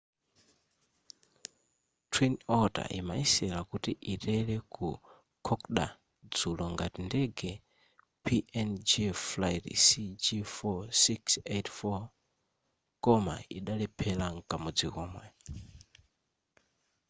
twin otter imayesera kuti itere ku kokoda dzulo ngati ndege png flight cg4684 koma idalephera mkamodzi komwe